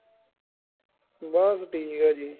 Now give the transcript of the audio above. ਬਸ ਠੀਕ ਆ ਜੀ